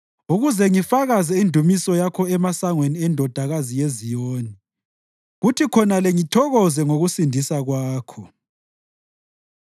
ukuze ngifakaze indumiso yakho emasangweni eNdodakazi yaseZiyoni kuthi khonale ngithokoze ngokusindisa kwakho.